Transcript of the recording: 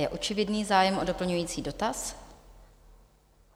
Je očividný zájem o doplňující dotaz.